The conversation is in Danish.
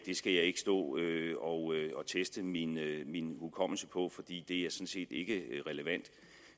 skal jeg ikke stå og teste min hukommelse på fordi det sådan set ikke er relevant